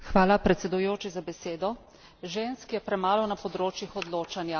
Žensk je premalo na področjih odločanja.